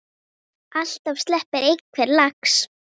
Alltaf sleppi einhver lax.